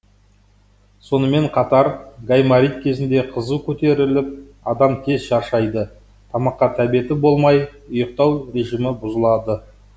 сонымен қатар гайморит кезінде қызу көтеріліп адам тез шаршайды тамаққа тәбеті болмай ұйықтау режимі бұзылады